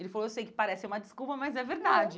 Ele falou, eu sei que parece uma desculpa, mas é verdade.